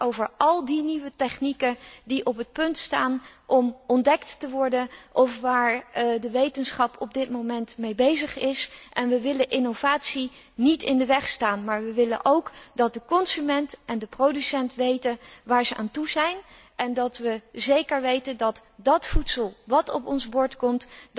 Zij gaat over al die nieuwe technieken die op het punt staan ontdekt te worden of waarmee de wetenschap op dit moment bezig is. We willen de innovatie niet in de weg staan, maar we willen dat de consument en de producent weten waar ze aan toe zijn en we willen zeker weten dat het voedsel dat op ons bord komt